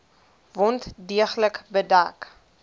wond deeglik bedek